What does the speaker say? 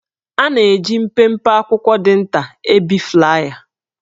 A na-eji mpempe akwụkwọ dị nta ebi flaya